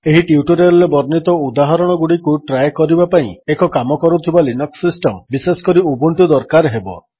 ଏହି ଟ୍ୟୁଟୋରିଆଲ୍ ରେ ବର୍ଣ୍ଣିତ ଉଦାହରଣଗୁଡ଼ିକୁ ଟ୍ରାଏ କରିବା ପାଇଁ ଏକ କାମକରୁଥିବା ଲିନକ୍ସ ସିଷ୍ଟମ୍ ବିଶେଷ କରି ଉବୁଣ୍ଟୁ ଦରକାର ହେବ